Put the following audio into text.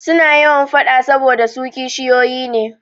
Suna yawan faɗa saboda su kishiyoyi ne.